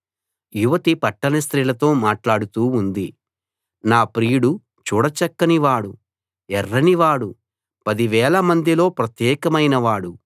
యువతి పట్టణ స్త్రీలతో మాట్లాడుతూ ఉంది నా ప్రియుడు చూడ చక్కని వాడు ఎర్రని వాడు పదివేలమందిలో ప్రత్యేకమైన వాడు